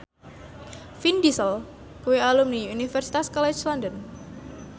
Vin Diesel kuwi alumni Universitas College London